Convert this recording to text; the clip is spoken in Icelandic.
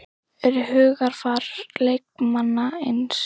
Eru hugarfar leikmanna eins?